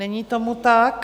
Není tomu tak.